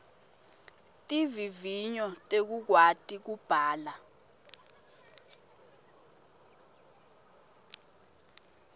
tivivinyo tekukwati kubhala